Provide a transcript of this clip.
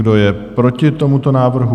Kdo je proti tomuto návrhu?